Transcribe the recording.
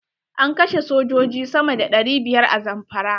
An kashe sojoji sama da ɗari biyar a Zamfara.